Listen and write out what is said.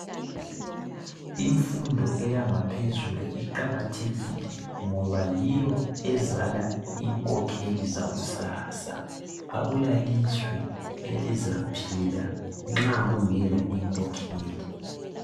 Imfundo eyangaphezulu iqakathekile ngoba yiyo ngoba yiyo ezala inkokheli zakusasa. Akula lizwe elizaphila nxa kungekho inkokheli.